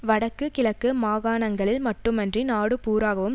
வடக்கு கிழக்கு மாகாணங்களில் மட்டுமன்றி நாடுபூராகவும்